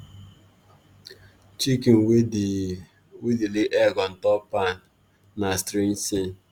chicken wey dey wey dey lay egg on top pan na strange thing